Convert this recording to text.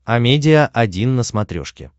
амедиа один на смотрешке